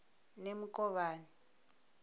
nemukovhani